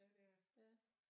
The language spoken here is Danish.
Ja det er det